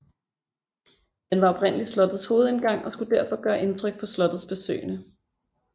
Den var oprindelig slottets hovedindgang og skulle derfor gøre indtryk på slottets besøgende